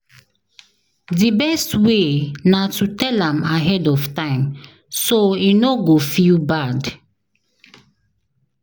Di best way na to tell am ahead of time, so e no go feel bad.